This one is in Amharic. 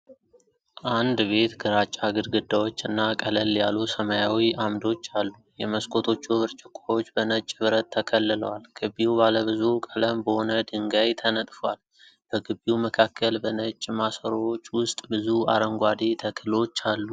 አንድ ቤት ግራጫ ግድግዳዎች እና ቀለል ያሉ ሰማያዊ ዓምዶች አሉ። የመስኮቶቹ ብርጭቆዎች በነጭ ብረት ተከልለዋል። ግቢው ባለ ብዙ ቀለም በሆነ ድንጋይ ተነጥፏል። በግቢው መካከል በነጭ ማሰሮዎች ውስጥ ብዙ አረንጓዴ ተክሎች አሉ።